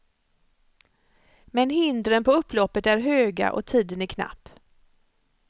Men hindren på upploppet är höga och tiden är knapp.